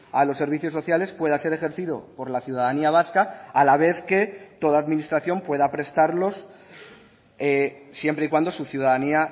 a los servicios sociales pueda ser ejercido por la ciudadanía vasca a la vez que toda administración pueda prestarlos siempre y cuando su ciudadanía